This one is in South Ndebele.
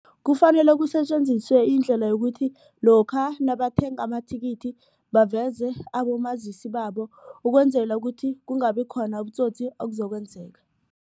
Kufanele kusetjenziswe indlela yokuthi lokha nabathenga amathikithi baveze abomazisi babo ukwenzela ukuthi kungabi khona ubutsotsi obuzokwenzeka.